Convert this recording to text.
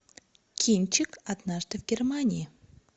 кинчик однажды в германии